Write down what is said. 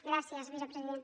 gràcies vicepresident